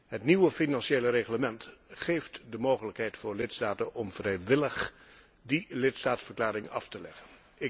Het nieuwe Financieel Reglement geeft de mogelijkheid voor lidstaten om vrijwillig die lidstaatverklaring af te leggen.